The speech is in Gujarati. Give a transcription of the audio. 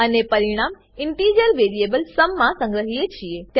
અને પરિણામ ઇન્ટીજર વેરીએબલ સુમ માં સંગ્રહીએ છીએ